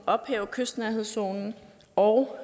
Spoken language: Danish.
ophæve kystnærhedszonen og